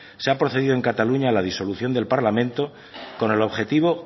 se ha procedido en cataluña a la disolución del parlamento con el objetivo